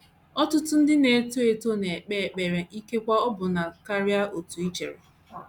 ỌTỤTỤ ndị na - eto eto na - ekpe ekpere ikekwe ọbụna karịa otú i chere.